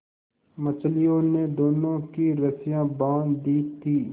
मछलियों ने दोनों की रस्सियाँ बाँध दी थीं